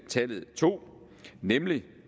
tallet to nemlig